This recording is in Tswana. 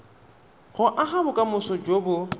go aga bokamoso jo bo